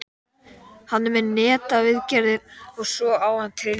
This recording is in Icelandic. Hann er með netaviðgerðir og svo á hann trillu.